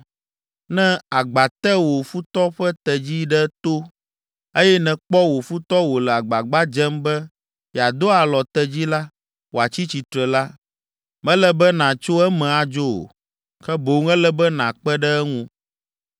Ne agba te wo futɔ ƒe tedzi ɖe to, eye nèkpɔ wò futɔ wòle agbagba dzem be yeado alɔ tedzi la wòatsi tsitre la, mele be nàtso eme adzo o, ke boŋ ele be nàkpe ɖe eŋu.